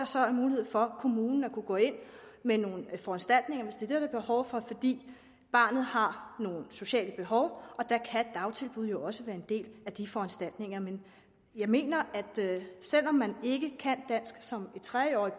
så er mulighed for at kommunen kan gå ind med nogle foranstaltninger hvis det det er behov for fordi barnet har nogle sociale behov og der kan dagtilbud jo også være en del af de foranstaltninger men jeg mener at selv om man ikke kan dansk som tre årig